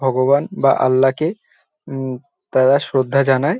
ভগবান বা আল্লাহ কে হুম তারা শ্রদ্ধা জানায় ।